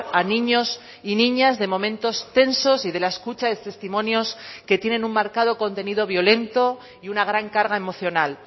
a niños y niñas de momentos tensos y de la escucha de testimonios que tienen un marcado contenido violento y una gran carga emocional